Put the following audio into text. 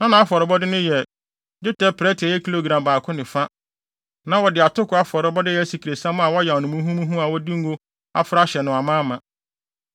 Na nʼafɔrebɔde no yɛ: dwetɛ prɛte a ɛyɛ kilogram baako ne fa. Na wɔde atoko afɔrebɔde a ɛyɛ asikresiam a wɔayam no muhumuhu a wɔde ngo afra ahyɛ no amaama.